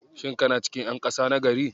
Shin kana cikin ƴan ƙasa na gari?